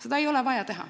Seda ei ole vaja.